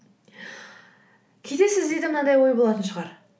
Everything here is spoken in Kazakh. кейде сіздерде мынандай ой болатын шығар